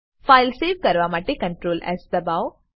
file save કરવા માટે Ctrl S દબાઓ